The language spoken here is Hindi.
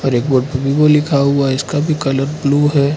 एक बोर्ड पे विवो लिखा हुआ है इसका भी कलर ब्लू है।